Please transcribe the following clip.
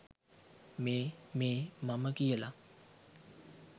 මේ මේ මම කියලා.